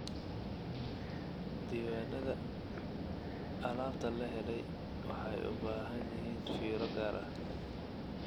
Diiwaanada alaabta la helay waxay u baahan yihiin fiiro gaar ah.